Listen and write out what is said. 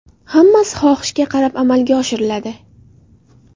Hammasi xohishga qarab amalga oshiriladi.